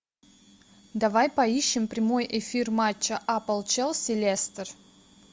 давай поищем прямой эфир матча апл челси лестер